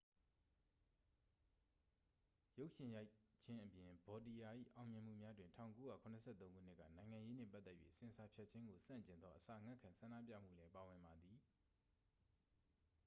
ရုပ်ရှင်ရိုက်ခြင်းအပြင် ဗောတီရာ ၏အောင်မြင်မှုများတွင် 1973 ခုနှစ်က နိုင်ငံရေးနှင့်ပတ်သက်၍ဆင်ဆာဖြတ်ခြင်းကိုဆန့်ကျင်သော အစာငတ်ခံဆန္ဒပြမှုလည်းပါဝင်ပါသည်